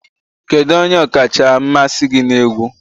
Kedu onye ọkacha mmasị gị na egwu?